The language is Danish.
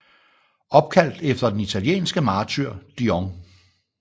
Opkaldt efter den italienske martyr Dion